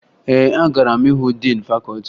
Ee, agara m hụ diin fakọọti